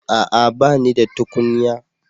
A'a! Ba ni da tukunya.